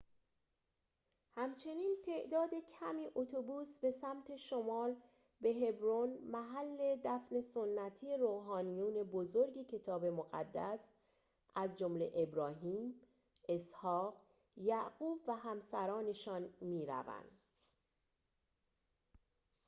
همچنین تعداد کمی اتوبوس به سمت شمال به هبرون محل دفن سنتی روحانیون بزرگ کتاب مقدس از جمله ابراهیم اسحاق یعقوب و همسرانشان می روند